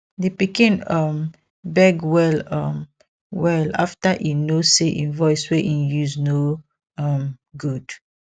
di pikin um beg well um well after e know say im voice wey im use no um good